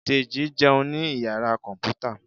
Deji jẹun ni iyara kọnputa